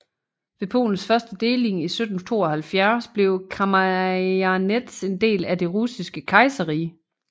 Ved Polens første deling i 1772 blev Kamjanets en del af Det Russiske Kejserrige